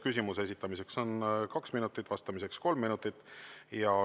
Küsimuse esitamiseks on kaks minutit, vastamiseks kolm minutit.